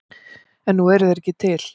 En nú eru þeir ekki til.